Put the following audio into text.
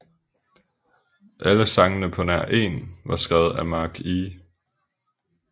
Alle sangene på nær én var skrevet af Mark E